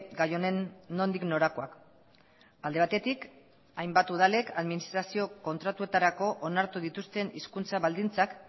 gai honen nondik norakoak alde batetik hainbat udalek administrazio kontratuetarako onartu dituzten hizkuntza baldintzak